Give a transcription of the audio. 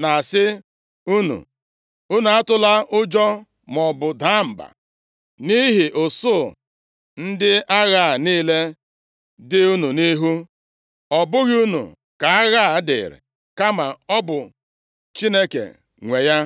na-asị unu. ‘Unu atụla ụjọ, maọbụ daa mba, nʼihi usuu ndị agha a niile dị unu nʼihu. Ọ bụghị unu ka agha a dịịrị, kama ọ bụ Chineke nwe ya.